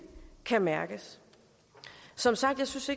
kan mærkes som sagt synes